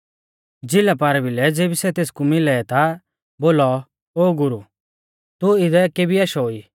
झ़िला पारभिलै ज़ेबी सै तेसकु मिलै ता बोलौ ओ गुरु तू इदै केबी आशौ ई